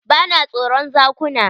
Ba na tsoron zakuna.